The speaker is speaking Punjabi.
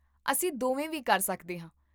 ਅਸੀਂ ਦੋਵੇਂ ਵੀ ਕਰ ਸਕਦੇ ਹਾਂ